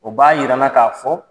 O b'a yira an na ka fɔ